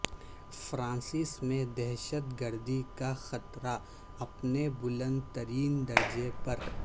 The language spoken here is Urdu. فرانس میں دہشت گردی کا خطرہ اپنے بلند ترین درجے پر